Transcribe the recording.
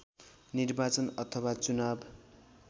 निर्वाचन अथवा चुनाव